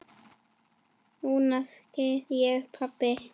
Núna skil ég, pabbi.